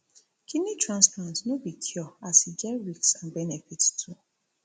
kidney transplant no be cure as e get risk and benefits too